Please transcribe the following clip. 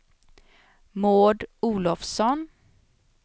Maud Olovsson